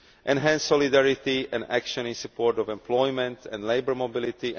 enhanced solidarity and action in support of employment and labour mobility